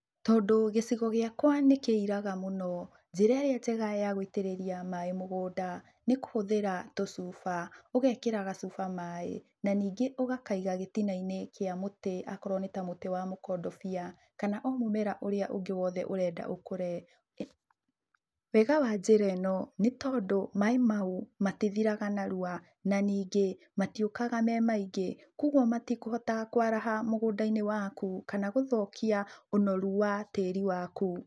Tondũ gĩcigo gĩakwa nĩkĩiraga mũno, njĩra ĩrĩa njega ya gũitĩrĩria maaĩ mũgũnda, nĩ kũhũthĩra tũcuba. Ũgekĩra gacuba maaĩ, na ningĩ ũgakaiga gĩtina-inĩ kĩa mũtĩ, akorwo nĩ ta mũtĩ wa mũkondobia, kana o mũmera ũrĩa ũngĩ ũrenda ũkũre. Wega wa njĩra ĩ no, nĩ tondũ maaĩ mau, matithiraga narua, na ningĩ matiũkaga me maingĩ, koguo matikũhota kwaraha mũgũnda-inĩ waku, kana gũthũkia ũnoru wa tĩri waku.